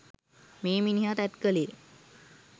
මේ මිනිහා තැත් කළේ